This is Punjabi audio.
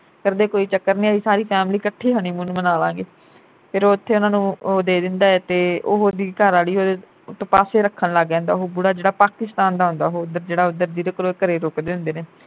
ਕਰਦੇ ਕੋਈ ਚੱਕਰ ਨਹੀਂ ਅਹੀ ਸਾਰੀ family ਇਕੱਠੇ ਈ honeymoon ਮਨਾ ਲਾਗੇ। ਫਿਰ ਉਥੇ ਉਨ੍ਹਾਂ ਨੂੰ ਉਹ ਦੇ ਦਿੰਦਾ ਏ ਤੇ ਉਹ ਉਹਦੀ ਘਰਵਾਲੀ ਉਹਦੇ ਤੋਂ ਪਾਸੇ ਰੱਖਣ ਲੱਗ ਜਾਂਦਾ ਉਹ ਬੁੜਾ ਜਿਹੜਾ ਪਾਕਿਸਤਾਨ ਦਾ ਆਉਂਦਾ ਉਹ ਉਧਰ ਜਿਹੜਾ ਉਧਰ ਜਿਹਦੇ ਕੋਲ ਘਰੇ ਰੁਕਦੇ ਹੁੰਦੇ ਨੇ।